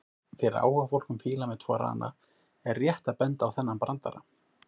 Fyrir áhugafólk um fíla með tvo rana er rétt að benda á þennan brandara: